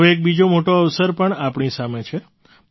હવે એક બીજો મોટો અવસર પણ આપણી સામે છે